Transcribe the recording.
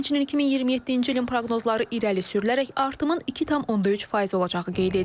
Həmçinin 2027-ci ilin proqnozları irəli sürülərək artımın 2,3% olacağı qeyd edilib.